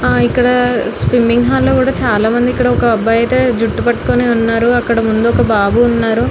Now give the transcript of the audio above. హ్హ ఇక్కడ swimming hall లో కూడా చాలా మంది ఇక్కడ ఒక అబ్బాయి అయితే జుట్టు పటుకోనైతే ఉనారు ఇక్కడ ముందు ఒక బాబు ఉన్నాడు.